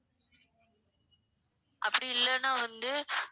அப்படி இல்லனா வந்து